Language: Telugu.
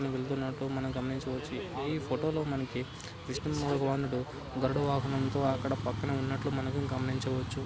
వెళ్తున్నట్టు మనం గమనించ వచ్చు. ఈ ఫోటోలో మనకి విష్ణు భగవానుడు గరుడ వాహనంతో అక్కడ పక్కనే ఉన్నట్లు మనం గమనించవచ్చు.